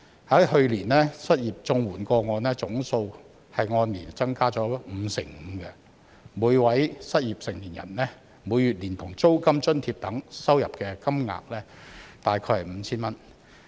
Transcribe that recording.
去年失業綜援個案總數按年增加了五成五，每位失業成年人每月連同租金津貼等收到的金額大概是 5,000 元。